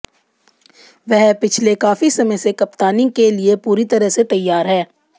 वह पिछले काफी समय से कप्तानी के लिये पूरी तरह से तैयार हैं